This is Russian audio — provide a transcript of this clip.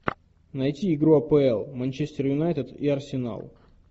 найти игру апл манчестер юнайтед и арсенал